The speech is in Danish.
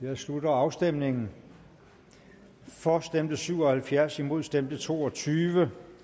jeg slutter afstemningen for stemte syv og halvfjerds imod stemte to og tyve